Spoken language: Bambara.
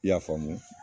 I y'a faamu